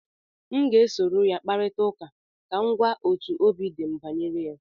m ga-esoro ya kparịta ụka ka m gwa otú obi dị m banyere ya